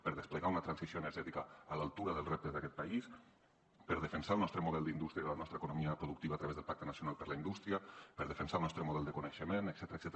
per desplegar una transició energètica a l’altura dels reptes d’aquest país per defensar el nostre model d’indústria i de la nostra economia productiva a través del pacte nacional per la indústria per defensar el nostre model de coneixement etcètera